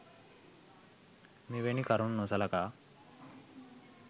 මෙවැනි කරුණු නොසලකා